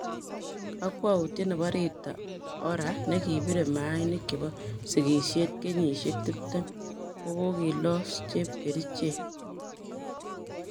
Kokwoutyet nebo Rita Ora nekiribe maainik chebo sigishet kenyishek 20 kokokilos chepkerichek.